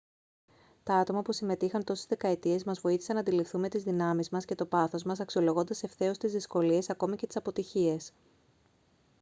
τα άτομα που συμμετείχαν τόσες δεκαετίες μας βοήθησαν να αντιληφθούμε τις δυνάμεις μας και το πάθος μας αξιολογώντας ευθέως τις δυσκολίες ακόμα και τις αποτυχίες